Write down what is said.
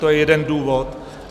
To je jeden důvod.